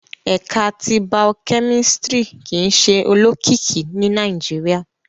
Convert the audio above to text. Ẹka ti Bio-kemistri kii ṣe olokiki ni Nàìjíríà